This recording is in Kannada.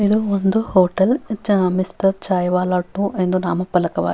ಇದು ಒಂದು ಹೊಟೆಲ್ ಮಿಸ್ಟರ್ ಚಾಯ್ವಾಲ ಟು ಎಂದು ನಾಮಪಲಕವಾಗಿದೆ.